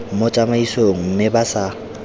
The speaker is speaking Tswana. mo tsamaisong mme ba sa